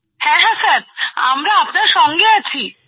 হ্যাঁ হ্যাঁ স্যার আমরা আপনার সঙ্গে আছি